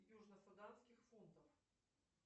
южно суданских фунтов